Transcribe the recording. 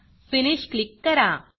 finish click करा